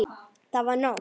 Það var nótt.